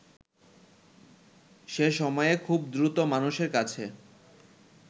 সেসময়ে খুব দ্রুত মানুষের কাছে